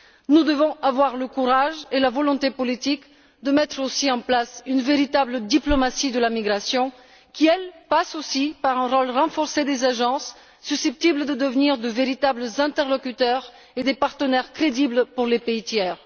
Nous devons avoir le courage et la volonté politique de mettre aussi en place une véritable diplomatie de la migration qui passe, elle aussi, par un rôle renforcé des agences, susceptibles de devenir de véritables interlocuteurs et des partenaires crédibles pour les pays tiers.